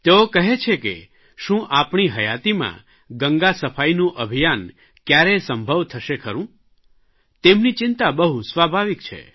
તેઓ કહે છે કે શું આપણી હયાતિમાં ગંગાસફાઇનું અભિયાન કયારેય સંભવ થશે ખરૂં તેમની ચિંતા બહુ સ્વાભાવિક છે